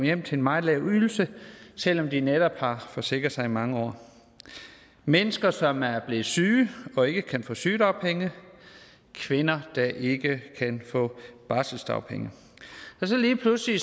hjem til en meget lav ydelse selv om de netop har forsikret sig i mange år mennesker som er blevet syge og ikke kan få sygedagpenge kvinder der ikke kan få barselsdagpenge og så lige pludselig